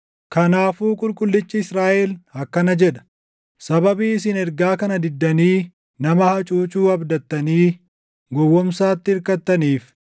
Kanaafuu Qulqullichi Israaʼel akkana jedha: “Sababii isin ergaa kana diddanii nama hacuucuu abdattanii gowwoomsaatti irkattaniif,